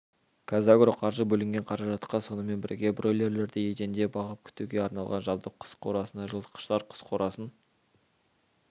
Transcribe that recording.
қазагроқаржы бөлінген қаражатқа сонымен бірге бройлерлерді еденде бағып күтуге арналған жабдық құс қорасына жылытқыштар құс қорасын